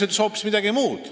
Ta ütles hoopis midagi muud.